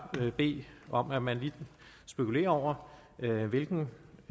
bede om at man lige spekulerer over hvilken